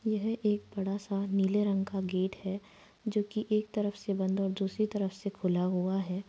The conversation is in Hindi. यह एक बड़ा सा नीले रंग का गेट है जो की एक तरफ से बंद और दूसरी तरफ से खुला हुआ है।